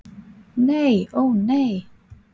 Nei, ó nei.